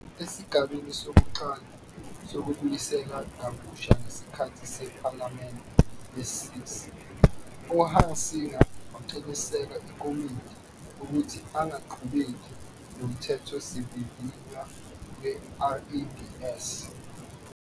Esigabeni sokuqala sokubuyiselwa kabusha ngesikhathi sePhalamende lesi-6 "uHunsinger waqinisekisa iKomidi" ukuthi angaqhubeki noMthethosivivinywa weRABS.